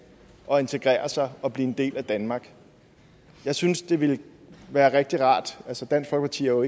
at integrere sig og blive en del af danmark jeg synes det ville være rigtig rart altså dansk folkeparti er jo